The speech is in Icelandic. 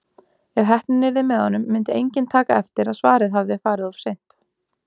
Ef heppnin yrði með honum myndi enginn taka eftir að svarið hafði farið of seint.